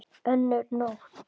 Önnur not